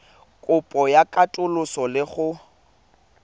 kopo ya katoloso le go